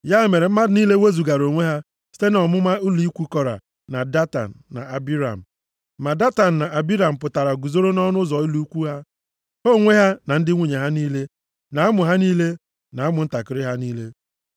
Ya mere mmadụ niile wezugara onwe ha site nʼọmụma ụlọ ikwu Kora, na Datan na Abiram. Ma Datan na Abiram pụtara guzoro nʼọnụ ụzọ ụlọ ikwu ha, ha onwe ha na ndị nwunye ha niile, na ụmụ ha niile, na ụmụntakịrị ha niile.